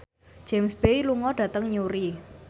James Bay lunga dhateng Newry